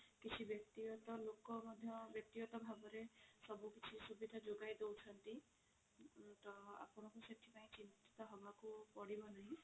କିଛି ବ୍ୟକ୍ତି ଗତ ଲୋକ ମଧ୍ୟ ବ୍ୟକ୍ତି ଗତ ଭାବରେ ସବୁ କିଛି ସୁବିଧା ଯୋଗାଇ ଦୋଉଛନ୍ତି ତ ଆପଣଙ୍କୁ ସେଥିପାଇଁ ଚିନ୍ତିତ ହେବାକୁ ପଡିବ ନାହିଁ